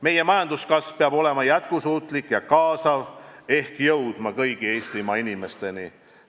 Meie majanduskasv peab olema jätkusuutlik ja kaasav ehk jõudma kõigi Eestimaa inimesteni.